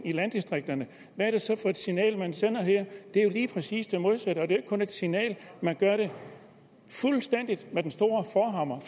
i landdistrikterne hvad er det så for et signal man sender her det er jo lige præcis det modsatte og det er kun et signal man gør det med den store forhammer